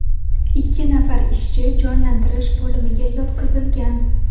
Ikki nafar ishchi jonlantirish bo‘limiga yotqizilgan.